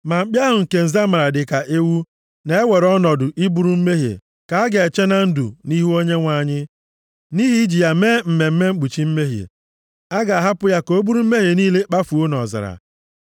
Ma mkpi ahụ nke nza mara dịka ewu na-ewere ọnọdụ iburu mmehie ka a ga-eche na ndụ nʼihu Onyenwe anyị, nʼihi iji ya mee mmemme mkpuchi mmehie, a ga-ahapụ ya ka o buru mmehie niile kpafuo nʼọzara.